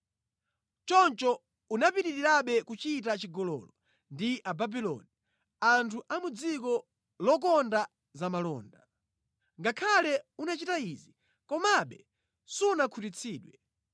Choncho unapitirirabe kuchita chigololo ndi Ababuloni, anthu a mʼdziko lokonda zamalonda. Ngakhale unachita izi, komabe sunakhutitsidwe.